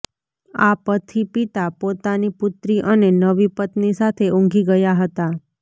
આ પથી પિતા પોતાની પુત્રી અને નવી પત્ની સાથે ઉંઘી ગયા હતા